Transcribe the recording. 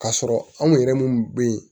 K'a sɔrɔ anw yɛrɛ minnu bɛ yen